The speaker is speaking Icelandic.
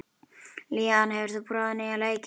Leon, hefur þú prófað nýja leikinn?